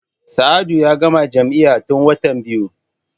Sa'adu ya gama jami'a tun watan biyu.